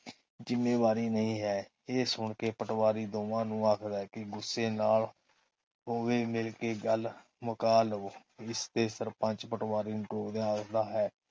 ਜਿੰਮੇਵਾਰੀ ਨਹੀਂ ਹੈ। ਇਹ ਸੁਣਕੇ ਪਟਵਾਰੀ ਦੋਵਾਂ ਨੂੰ ਆਖਦਾ ਹੈ ਕੇ ਗੁੱਸੇ ਨਾਲ ਦੋਵੇ ਮਿਲਕੇ ਗੱਲ ਮੁਕਾ ਲਵੋ। ਇਸਤੇ ਸਰਪੰਚ, ਪਟਵਾਰੀ ਆਖਦਾ ਹੈ।